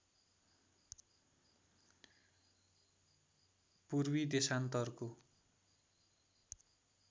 पूर्वी देशान्तरको